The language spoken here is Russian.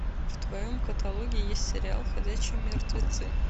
в твоем каталоге есть сериал ходячие мертвецы